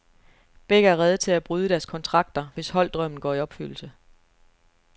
Begge er rede til at bryde deres kontrakter, hvis holddrømmen går i opfyldelse.